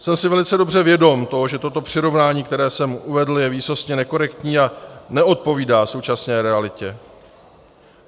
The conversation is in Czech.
Jsem si velice dobře vědom toho, že toto přirovnání, které jsem uvedl, je výsostně nekorektní a neodpovídá současné realitě.